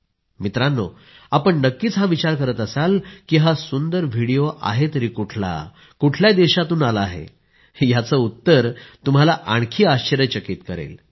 मित्रांनो आपण नक्कीच हा विचार करत असाल की हा सुंदर व्हिडीओ आहे तरी कुठला कुठल्या देशातून आला आहे याचं उत्तर तुम्हाला आणखी आश्चर्यचकित करेल